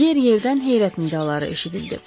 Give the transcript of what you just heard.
Yer-yerdən heyrət nidaları eşidildi.